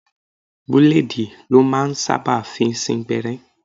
Búlèèdì lọ́ máa ń sábà fi ń sín gbẹ́rẹ́